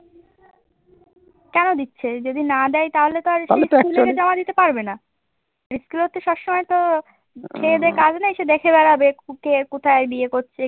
কেন দিচ্ছে? যদি না দেয় তাহলে তো আর যাওয়া দিতে পারবে না। ইস্কুল তো সবসময় তো খেয়ে দেয়ে কাজ নেই সে দেখে বেড়াবে কে কোথায় বিয়ে করছে?